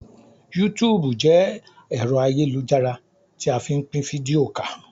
Yútùùbù jẹ́ ẹ̀rọ ayélujára tí a fí n pín fídíò ká